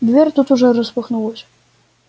дверь тут же распахнулась